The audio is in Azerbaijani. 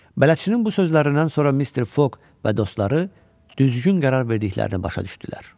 Bələdçinin bu sözlərindən sonra Mister Foq və dostları düzgün qərar verdiklərini başa düşdülər.